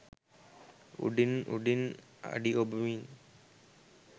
උඩින් උඩින් අඩි ඔබමින්